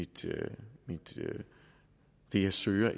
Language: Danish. det det jeg søger